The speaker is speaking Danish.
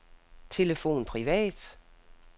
telefon privat